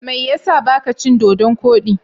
Me ya sa ba ka cin Dodon kodi?